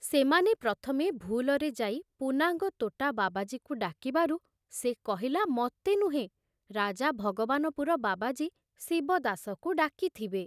ସେମାନେ ପ୍ରଥମେ ଭୁଲରେ ଯାଇ ପୁନାଙ୍ଗ ତୋଟା ବାବାଜୀକୁ ଡାକିବାରୁ ସେ କହିଲା ମତେ ନୁହେଁ, ରାଜା ଭଗବାନପୁର ବାବାଜୀ ଶିବଦାସକୁ ଡାକିଥିବେ।